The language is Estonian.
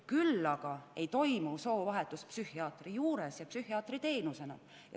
Küll aga ei toimu soovahetus psühhiaatri juures ja psühhiaatri teenusena.